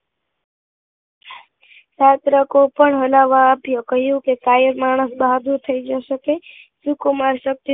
સત્રકો પણ હલાવવા આપ્યો કહ્યું કે કાયર માણસ બહાદુર થઇ જશે કે